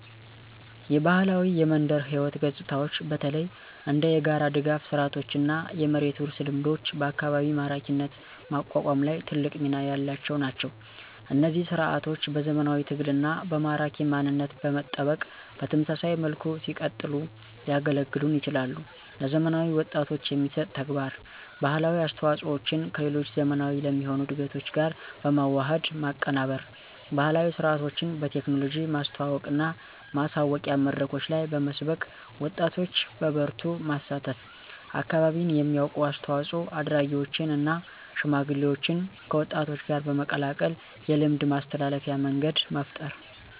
የባህላዊ የመንደር ሕይወት ገጽታዎች በተለይ እንደ የጋራ ድጋፍ ስርዓቶችና የመሬት ውርስ ልምዶች በአካባቢ ማራኪነት ማቋቋም ላይ ትልቅ ሚና ያላቸው ናቸው። እነዚህ ሥርዓቶች በዘመናዊ ትግልና በማራኪ ማንነት በመጠበቅ በተመሳሳይ መልኩ ሲቀጥሉ ሊያገለግሉን ይችላሉ። ለዘመናዊ ወጣቶች የሚሰጥ ተግባር: ባህላዊ አስተዋፆዎቸን ከሌሎች ዘመናዊ ለሚሆኑ እድገቶች ጋር በመዋሃድ ማቀናበር። ባህላዊ ሥርዓቶችን በቴክኖሎጂ ማስተዋወቅና ማሳወቂያ መድረኮች ላይ በመስበክ ወጣቶች በበርቱ ማሳተፍ። አካባቢን የሚያውቁ አስተዋፆ አድራጊዎችን እና ሽማግሌዎችን ከወጣቶች ጋር በመቀላቀል የልምድ ማስተላለፊያ መንገድ መፍጠር።